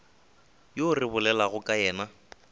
yo re bolelago ka yena